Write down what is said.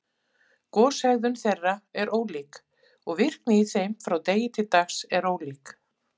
Goshegðun þeirra er ólík, og virkni í þeim frá degi til dags er ólík.